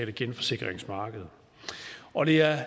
genforsikringsmarked og det er